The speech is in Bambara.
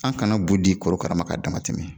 An kana bu di korokarama ka damatɛmɛ